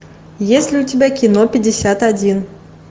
есть ли у тебя кино пятьдесят один